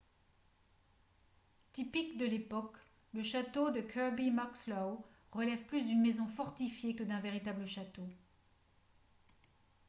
typique de l'époque le château de kirby muxloe relève plus d'une maison fortifiée que d'un véritable château